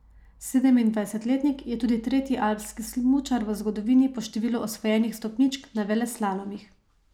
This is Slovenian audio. Sedemindvajsetletnik je tudi tretji alpski smučar v zgodovini po številu osvojenih stopničk na veleslalomih.